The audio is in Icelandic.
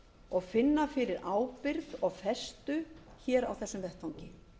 og finna fyrir ábyrgð og festu hér á þessum vettvangi